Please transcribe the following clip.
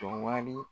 Tɔ wari